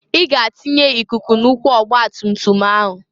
I ga atinye ikuku na ụkwụ ọgbatumtum ahu!